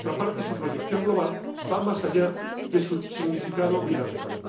Por otra parte, su proyección global va más allá de su significado bilateral.